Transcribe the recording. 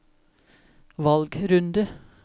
valgrunde